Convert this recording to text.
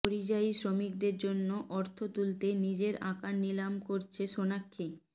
পরিযায়ী শ্রমিকদের জন্য অর্থ তুলতে নিজের আঁকা নিলাম করছেন সোনাক্ষী